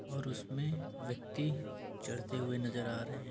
और उसमें व्यक्ति चढ़ते हुए नजर आ रहे हैं।